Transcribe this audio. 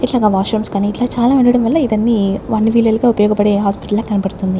యిట్లానా washrooms కనీ ఇట్లా చాలా ఉండడం వల్ల ఇదన్నీ అన్ని వీలలకి ఉపయోగపడే హాస్పిటల్లా కనబడుతుంది.